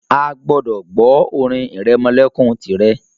a gbọdọ gbọ orin iremolekun tirẹ.